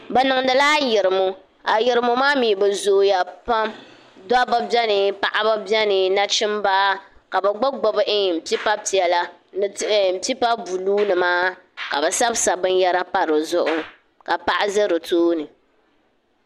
Bɛ niŋdi la ayirimo ayirimo maa mi bɛ zooya pam dobba beni paɣaba beni nachimba ka bi gbubi gbubi pipa piɛla ni pipa buluunima ka bi sabisabi binyara pa di zuɣu ka paɣa ʒe di tooni.